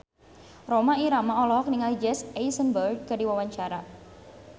Rhoma Irama olohok ningali Jesse Eisenberg keur diwawancara